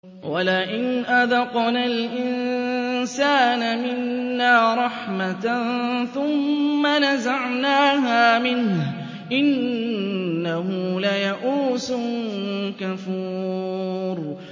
وَلَئِنْ أَذَقْنَا الْإِنسَانَ مِنَّا رَحْمَةً ثُمَّ نَزَعْنَاهَا مِنْهُ إِنَّهُ لَيَئُوسٌ كَفُورٌ